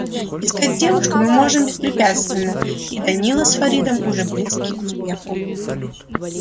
искать девушку мы можем беспрепятственно и данила с фаридом уже близки к успеху